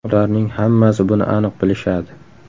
Ularning hammasi buni aniq bilishadi.